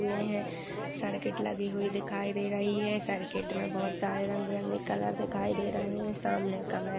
हुए हैं। सर्किट लगी हुई दिखाई दे रही हैं। सर्किट में बहुत सारे रंग-बिरंगे कलर दिखाई दे रहे हैं। सामने का मै --